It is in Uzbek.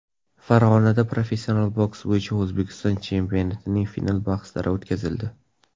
Farg‘onada professional boks bo‘yicha O‘zbekiston chempionatining final bahslari o‘tkazildi.